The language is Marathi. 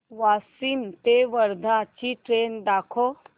वाशिम ते वर्धा ची ट्रेन दाखव